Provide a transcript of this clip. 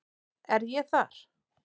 Er ég þar?